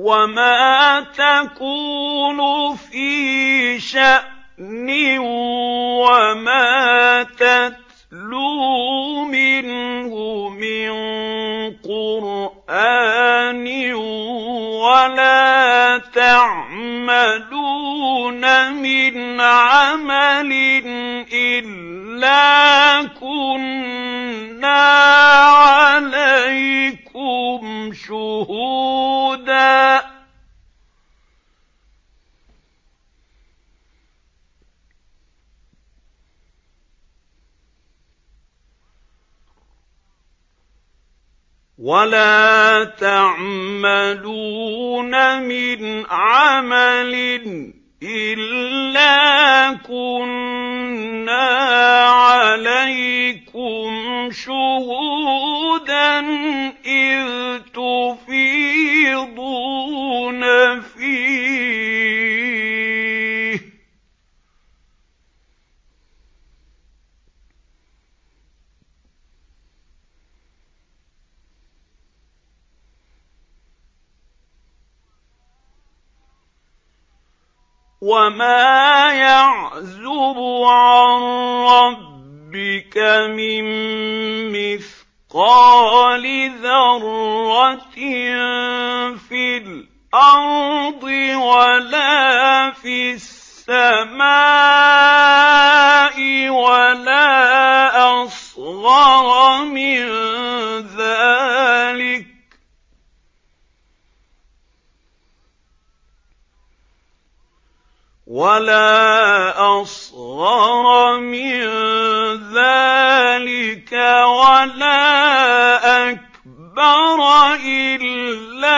وَمَا تَكُونُ فِي شَأْنٍ وَمَا تَتْلُو مِنْهُ مِن قُرْآنٍ وَلَا تَعْمَلُونَ مِنْ عَمَلٍ إِلَّا كُنَّا عَلَيْكُمْ شُهُودًا إِذْ تُفِيضُونَ فِيهِ ۚ وَمَا يَعْزُبُ عَن رَّبِّكَ مِن مِّثْقَالِ ذَرَّةٍ فِي الْأَرْضِ وَلَا فِي السَّمَاءِ وَلَا أَصْغَرَ مِن ذَٰلِكَ وَلَا أَكْبَرَ إِلَّا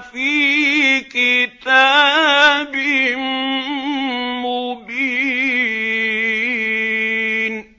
فِي كِتَابٍ مُّبِينٍ